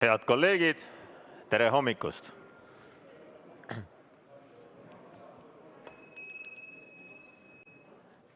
Head kolleegid, tere hommikust!